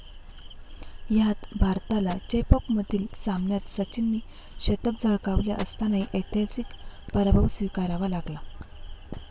ह्यात भारताला चेपौकमधील सामन्यात सचिनने शतक झळकावले असतानाही ऐतिहासिक पराभव स्वीकारावा लागला.